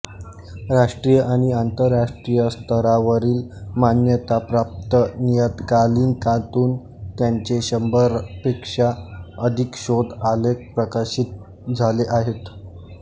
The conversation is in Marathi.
राष्ट्रीय आणि आंतरराष्ट्रीय स्तरावरील मान्यताप्राप्त नियतकालीकांतून त्यांचे शंभरपेक्षा अधिक शोध आलेख प्रकाशित झाले आहेत